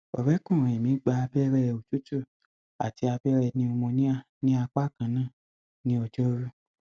ọrẹkùnrin mi gba abẹrẹ òtútù àti abẹrẹ pneumonia ní apá kan náà ní ọjọrú